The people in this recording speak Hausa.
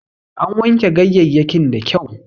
An wanke ganyeyyakin da kyau